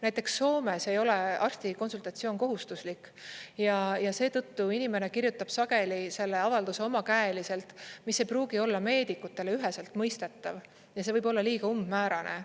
Näiteks Soomes ei ole arsti konsultatsioon kohustuslik ja seetõttu inimene kirjutab sageli selle avalduse omakäeliselt, mis ei pruugi olla meedikutele üheselt mõistetav, ja see võib olla liiga umbmäärane.